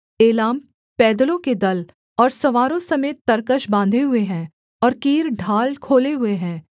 एलाम पैदलों के दल और सवारों समेत तरकश बाँधे हुए है और कीर ढाल खोले हुए है